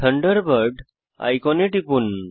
Thunderbird আইকনে টিপুন